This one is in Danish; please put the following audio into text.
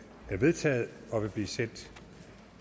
er vedtaget og vil blive sendt